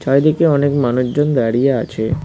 চারিদিকে অনেক মানুষজন দাঁড়িয়ে আছে।